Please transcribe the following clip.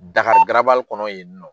Dakari kɔnɔ yen nɔ